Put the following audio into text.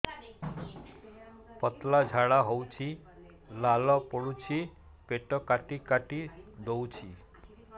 ପତଳା ଝାଡା ହଉଛି ଲାଳ ପଡୁଛି ପେଟ କାଟି କାଟି ଦଉଚି